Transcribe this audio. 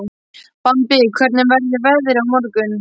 Bambi, hvernig verður veðrið á morgun?